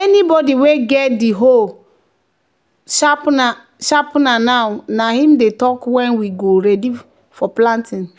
"anybody wey get get di hoe sharpener now na him dey talk when we go ready farm for planting."